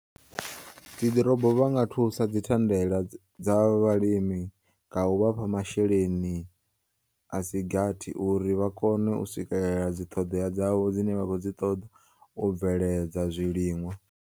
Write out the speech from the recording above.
Dzi ḓorobo vhanga thusa dzithandela dza vhalimi nga u vhafha masheleni asigathi uri vha kone u swikelela dziṱhoḓea dzavho dzine vhakhoudziṱoḓa u bveledza zwiliṅwa.